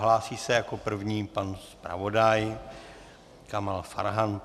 Hlásí se jako první pan zpravodaj Kamal Farhan.